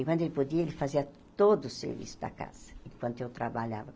Enquanto ele podia, ele fazia todo o serviço da casa, enquanto eu trabalhava.